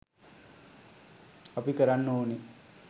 අපි කරන්න ඕනෙ